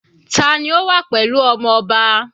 Tani ó wà pẹ̀lú ọmọ ọba?